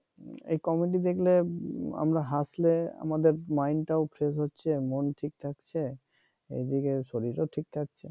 এই কমেডি দেখলে আমরা হাসলে আমাদের মাইন্ড টা ও ফ্রেশ হচ্ছে মন ও ঠিক থাকছে এদিকে শরীর ও ঠিক থাকছে